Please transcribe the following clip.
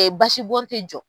Ee basi bɔn tɛ jɔ.